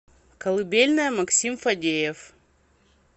колыбельная максим фадеев